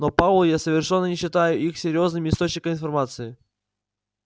но пауэлл я совершенно не считаю их серьёзным источником информации